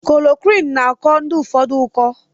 Klorokwin na akọ ndi ụfọdụ ụkọ.